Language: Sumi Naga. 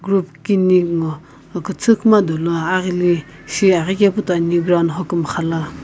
group kini ngo küthü kuma dolo aghili shi aghikepu toi ani ground hokumxa la.